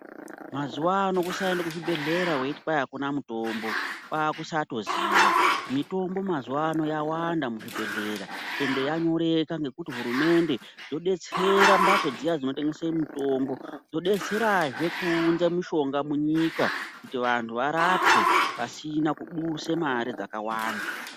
Mazuwano kusaenda kuzvibhedhera weiti kwai akuna mutombo kwakusatoziya mitombo mazuwano yawanda muzvibhedhlera ende yanyoreka ngekuti hurumende yodetsera mbatso dziya dzotengesa mitombo kudetserazve kuunza mitombo munyika kuti vantu varapwe pasina kudusa mare dzakawanda.